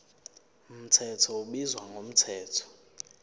mthetho ubizwa ngomthetho